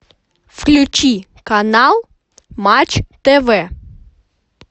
включи канал матч тв